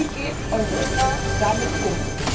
Wie geht Europa damit um?